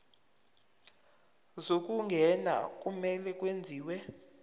zokungena kumele kwenziwe